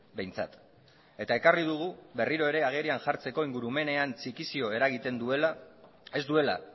behintzat eta ekarri dugu berriro ere agerian jartzeko ingurumenean txikizio eragiten duela ez duela